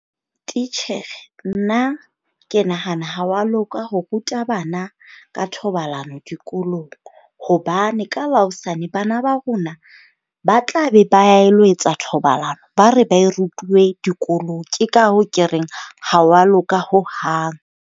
Titjhere, nna ke nahana ha wa loka ho ruta bana ka thobalano dikolong. Hobane ka la hosane bana ba rona ba tla be ba ilo etsa thobalano, ba re ba e rutilwe dikolong. Ke ka hoo ke reng, ha wa loka ho hang.